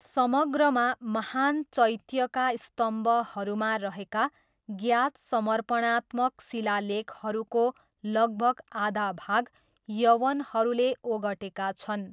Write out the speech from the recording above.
समग्रमा, महान चैत्यका स्तम्भहरूमा रहेका ज्ञात समर्पणात्मक शिलालेखहरूको लगभग आधा भाग यवनहरूले ओगटेका छन्।